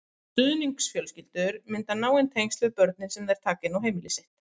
Stuðningsfjölskyldur mynda náin tengsl við börnin sem þær taka inn á heimili sitt.